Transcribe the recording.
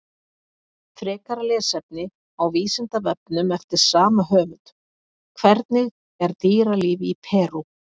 Frekara lesefni á Vísindavefnum eftir sama höfund: Hvernig er dýralíf í Perú?